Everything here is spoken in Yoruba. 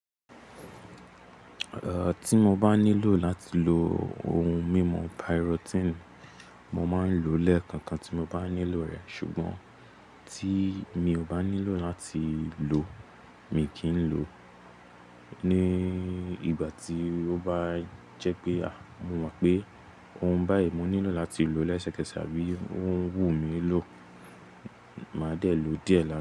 Eh tí mo bá nílò láti lo ohun mímu piritin, mo máa ń lo lẹ́ẹ̀kọ̀kan tí mo bá nílò rẹ̀. Sugbon tí mi ò bá nílò láti lò mi kì í lò ó. Ni ìgbà tí ó bá jẹ́ pé à, mo mọ̀ pé ohun báyìí mo nílò láti lò lẹ́sẹkẹsẹ̀ àbí òhún wù mí ló, màá dé lo díẹ̀ la.